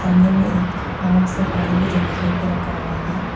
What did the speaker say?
सामने मे एक राउंड से पानी भी जमा करके रखा हुआ है।